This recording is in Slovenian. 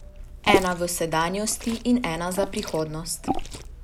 Ena v sedanjosti in ena za prihodnost.